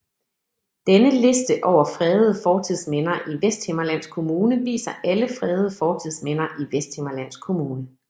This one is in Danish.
Denne liste over fredede fortidsminder i Vesthimmerlands Kommune viser alle fredede fortidsminder i Vesthimmerlands Kommune